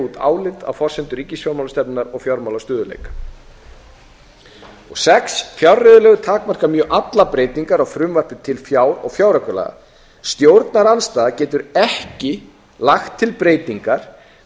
út álit á forsendum ríkisfjármálastefnunnar og fjármálastöðugleika sjötta fjárreiðulög takmarka mjög allar breytingar á frumvarpi til fjár og fjáraukalaga stjórnarandstaða getur ekki lagt til breytingar